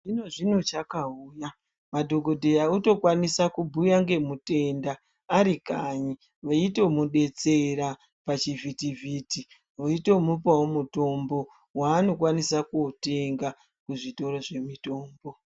...zvino-zvino chakauya, madhogodheya otokwanisa kubhuya ngemutenda arikanyi, veitomudetsera pachivhitivhiti. Veitomupawo mutombo waanokwanisa kuotenga kuzvitoro zvemitombo.